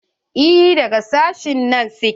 Eh daga sashen nan su ke.